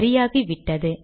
சரியாகிவிட்டது